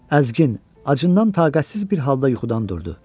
Əzgin, acından taqətsiz bir halda yuxudan durdu.